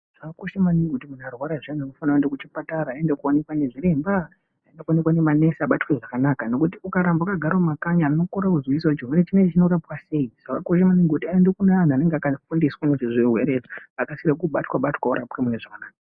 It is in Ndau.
Zvakakosha maninngi kuti kana muntu arwara zviyani unofanire kuende kuchipatara aende koonekwa nezviremba, oende koonekwa ngemaNesi abatwe zvakanaka, ngekuti ukarambe wakagara mumakanyi anhu anokorere kuziya kuti chirwere chino chinorapwa sei, zvakakosha maningi kuti aende kune anhu annge akafundiwsa ngezvezvirwere okasike kubatwatwa orapwe munezvakanaka.